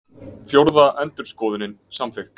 Fjórða endurskoðunin samþykkt